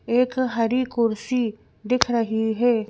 एक हरी कुर्सी दिख रही है।